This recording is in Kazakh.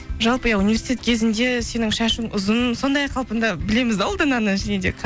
жалпы иә университет кезіңде сенің шашың ұзын сондай қалпыңда білеміз де ұлдананы және де